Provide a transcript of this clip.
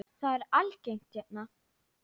Það er algengt hérna.